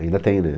Ainda tem, né?